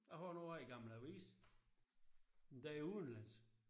Jeg har noget af en gammel avis. Endda udenlandsk